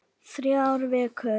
Þrjár vikur.